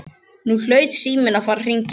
Nú hlaut síminn að fara að hringja.